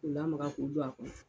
K'u lamaga k'u don a kɔnɔ.